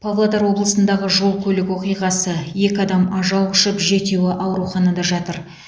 павлодар облысындағы жол көлік оқиғасы екі адам ажал құшып жетеуі ауруханада жатыр